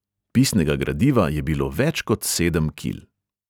Pisnega gradiva je bilo več kot sedem kil.